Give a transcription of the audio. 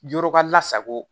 Yɔrɔ ka lasago